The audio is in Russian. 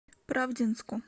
правдинску